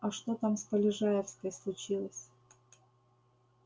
а что там с полежаевской случилось